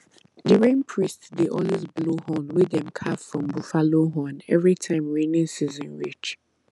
the rain priest dey always blow horn wey dem carve from buffalo horn every time rainy season reach